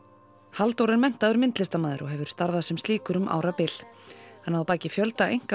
Halldór er menntaður myndlistarmaður og hefur starfað sem slíkur um árabil hann á að baki fjölda einka